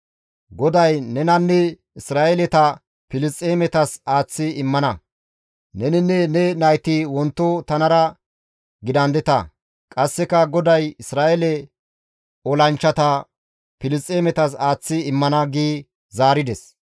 GODAY nenanne Isra7eeleta Filisxeemetas aaththi immana; neninne ne nayti wonto tanara gidandeta; qasseka GODAY Isra7eele olanchchata Filisxeemetas aaththi immana» gi zaarides.